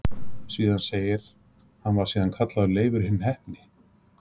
Síðan segir: Hann var síðan kallaður Leifur hinn heppni